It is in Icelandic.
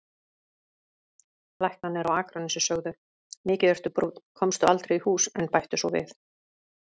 Læknarnir á Akranesi sögðu: Mikið ertu brúnn, komstu aldrei í hús, en bættu svo við